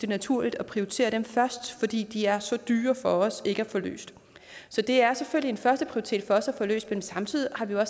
naturligt at prioritere dem først fordi de er så dyre for os ikke at få løst så det er selvfølgelig en førsteprioritet for os at få løst dem samtidig har vi jo